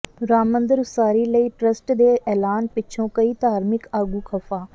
ਰਾਮ ਮੰਦਰ ਉਸਾਰੀ ਲਈ ਟ੍ਰੱਸਟ ਦੇ ਐਲਾਨ ਪਿੱਛੋਂ ਕਈ ਧਾਰਮਿਕ ਆਗੂ ਖ਼ਫ਼ਾ